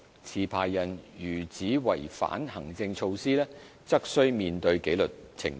持牌人如只違反行政措施，則須面對紀律程序。